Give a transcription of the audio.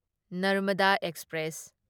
Narmada express